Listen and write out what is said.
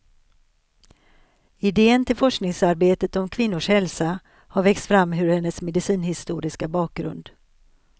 Idén till forskningsarbetet om kvinnors hälsa har växt fram ur hennes medicinhistoriska bakgrund.